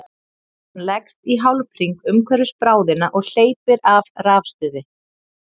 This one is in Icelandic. hann leggst í hálfhring umhverfis bráðina og hleypir af rafstuði